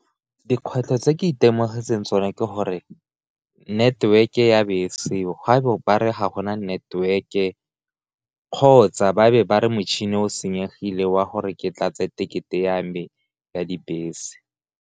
Dikgwetlho tse ke itemogetse sone ke gore network-e ya be seo ga bo bare ga gona network-e, kgotsa ba be ba re motšhini o senyegile wa gore ke tla tse tekete ya me ya dibese.